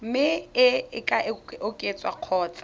mme e ka oketswa kgotsa